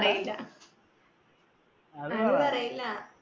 പേരാ അത്‌ പറയൂല